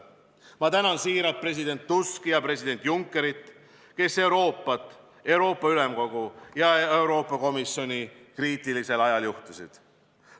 Ma tänan siiralt president Tuski ja president Junckerit, kes Euroopat, Euroopa Ülemkogu ja Euroopa Komisjoni kriitilisel ajal juhtisid.